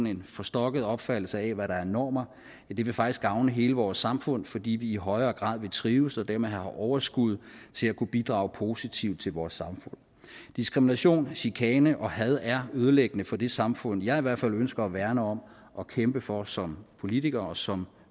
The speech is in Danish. en forstokket opfattelse af hvad der er normer det vil faktisk gavne hele vores samfund fordi vi i højere grad vil trives og dermed have overskud til at kunne bidrage positivt til vores samfund diskrimination chikane og had er ødelæggende for det samfund jeg i hvert fald ønsker at værne om og kæmpe for som politiker og som